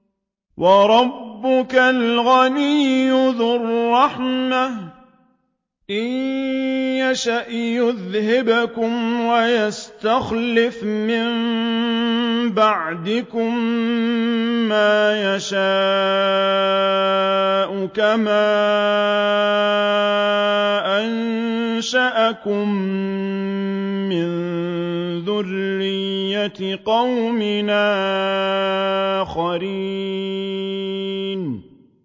وَرَبُّكَ الْغَنِيُّ ذُو الرَّحْمَةِ ۚ إِن يَشَأْ يُذْهِبْكُمْ وَيَسْتَخْلِفْ مِن بَعْدِكُم مَّا يَشَاءُ كَمَا أَنشَأَكُم مِّن ذُرِّيَّةِ قَوْمٍ آخَرِينَ